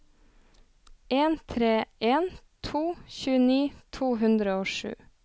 en tre en to tjueni to hundre og sju